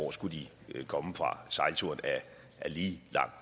hvor skulle de komme fra sejlturen er lige lang